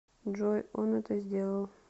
джой он это сделал